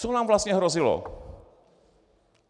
Co nám vlastně hrozilo?